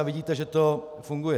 A vidíte, že to funguje.